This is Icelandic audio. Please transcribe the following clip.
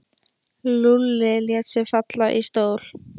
Lúlli lét sig falla í stól.